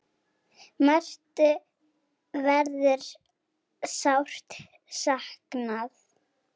Mörthu verður sárt saknað.